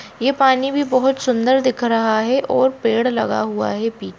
ये पानी भी बहोत सुन्दर दिख रहा है और पेड़ लगा हुआ है। पी--